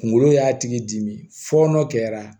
Kunkolo y'a tigi dimi fɔɔnɔ kɛra